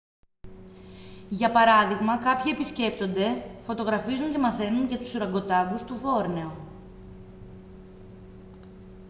για παράδειγμα κάποιοι επισκέπτονται φωτογραφίζουν και μαθαίνουν για τους ουρακοτάνγκους του βόρνεο